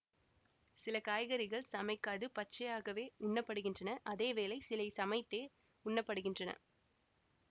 சில காய்கறிகள் சமைக்காது பச்சையாகவே உண்ணப்படுகின்றன அதே வேளை சில சமைத்தே உண்ணப்படுகின்றன